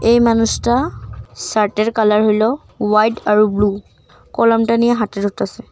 এই মানুষটা শার্টের কালার হইলো হোয়াইট আর ব্লু কলামটা নিয়ে হাতে ধরতাছে ।